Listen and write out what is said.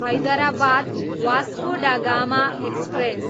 Hyderabad, Vasco da Gama express